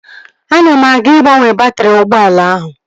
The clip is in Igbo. Ana m aga ịgbanwe baatrị ụgbọala ahụ